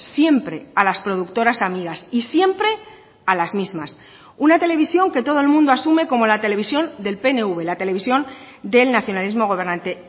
siempre a las productoras amigas y siempre a las mismas una televisión que todo el mundo asume como la televisión del pnv la televisión del nacionalismo gobernante